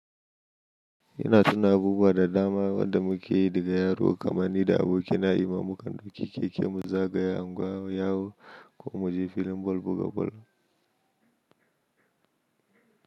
Yana tuna abubuwa da dama wanda muke yi daga yaro kamar nida aboki na yi mamu kan duk yake kema zagayawa ko mu ji filin boka-boka.